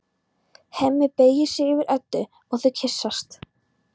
Hemmi beygir sig yfir Eddu og þau kyssast.